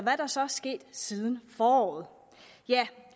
er der så sket siden foråret ja